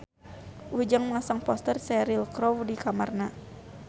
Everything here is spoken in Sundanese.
Ujang masang poster Cheryl Crow di kamarna